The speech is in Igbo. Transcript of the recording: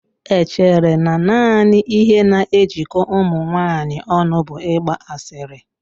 E chere na naanị ihe na-ejikọ ụmụ nwanyị ọnụ bụ ịgba asịrị